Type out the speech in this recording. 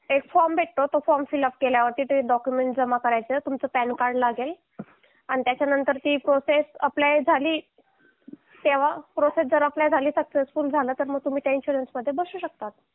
एक फॉर्म भेटतो तो फॉर्म फिलअप केल्यावर तुमचे डॉक्युमेंट जमा करायचे तुमचं पॅन कार्ड लागेल आणि त्याच्यानंतर ची प्रोसेस अप्लाय झाली तेव्हा प्रोसेस अप्लाय झाली सक्सेसफुल झाली तर तुम्ही त्या इन्शुरन्स मध्ये बसू शकतात